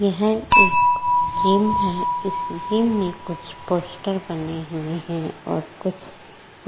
यह एक गेम है। इस गेम में कुछ पोस्टर बने हुए हैं और कुछ --